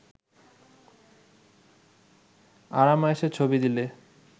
আরাম-আয়েশের ছবি দিলে